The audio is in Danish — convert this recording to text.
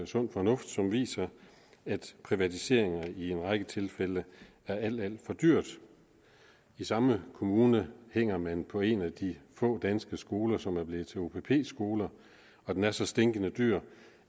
sund fornuft som viser at privatiseringer i en række tilfælde er alt alt for dyrt i samme kommune hænger man på en af de få danske skoler som er blevet til opp skoler og den er så stinkende dyr